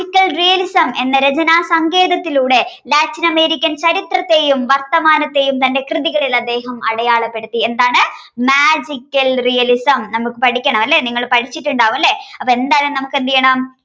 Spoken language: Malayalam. realism എന്ന രചന സങ്കേതത്തിലൂടെ latin american ചരിത്രത്തെയും വർത്തമാനത്തെയും തന്റെ കൃതികളിൽ അദ്ദേഹം അടയാളപ്പെടുത്തി എന്താണ് magical realism നമുക്ക് പഠിക്കണം അല്ലേ നിങ്ങൾ പഠിച്ചിട്ടുണ്ടാവും അല്ലേ അപ്പോഎന്തായാലും നമുക്ക് എന്തെയ്യണം